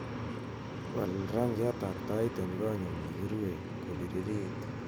wal rangiat ab tait en konyun negirue kobiririt